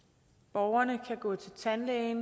borgerne kan gå til tandlæge